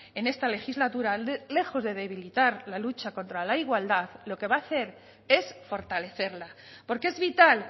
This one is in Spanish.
en esta legislatura lejos de debilitar la lucha contra la igualdad lo que va a hacer es fortalecerla porque es vital